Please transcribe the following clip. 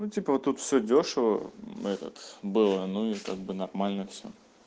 ну типа вот тут все дёшево мм этот было ну и как бы нормально все